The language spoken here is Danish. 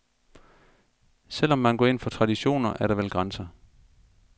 Selv om man går ind for traditioner, er der vel grænser.